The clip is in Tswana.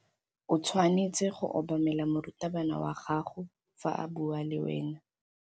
O tshwanetse go obamela morutabana wa gago fa a bua le wena.